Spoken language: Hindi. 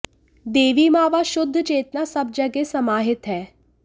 देवी मां व शुद्ध चेतना सब जगह समाहित है